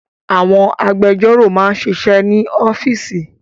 Àwọn agbẹjọ́rò máa ń ṣiṣẹ́ ní ọ́fíísì